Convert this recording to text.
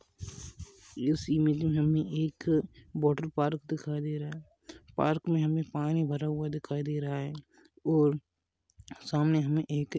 इस इमेज मे हमे एक वाटर पार्क दिखाई दे रहा है पार्क मे हमे पानी भरा हुआ दिखाई दे रहा है और सामने हमे एक--